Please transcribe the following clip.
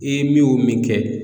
I ye min kɛ